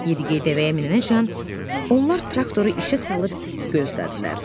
Yedi-geyi dəvəyə minənəcən onlar traktoru işə salıb gözlədilər.